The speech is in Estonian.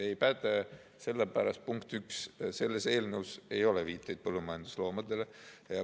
Ei päde sellepärast, punkt üks, et selles eelnõus ei ole viiteid põllumajandusloomadele.